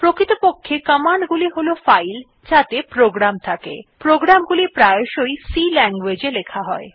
প্রকৃতপক্ষে কমান্ড গুলি হল ফাইল যাতে প্রোগ্রাম থাকে প্রোগ্রাম গুলি প্রায়শই C language ই লেখা হয়